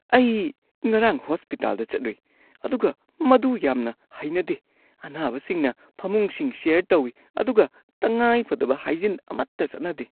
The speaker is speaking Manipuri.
ꯑꯩ ꯉꯔꯥꯡ ꯍꯣꯁꯄꯤꯇꯥꯜꯗ ꯆꯠꯂꯨꯏ ꯑꯗꯨꯒ ꯃꯗꯨ ꯌꯥꯝꯅ ꯍꯩꯅꯗꯦ꯫ ꯑꯅꯥꯕꯁꯤꯡꯅ ꯐꯃꯨꯡꯁꯤꯡ ꯁꯦꯌꯔ ꯇꯧꯏ ꯑꯗꯨꯒ ꯇꯉꯥꯏꯐꯗꯕ ꯍꯥꯏꯖꯤꯟ ꯑꯃꯠꯇ ꯆꯠꯅꯗꯦ꯫